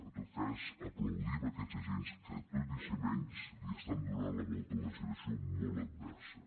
en tot cas aplaudim aquests agents que tot i ser menys li estan donant la volta a una situació molt adversa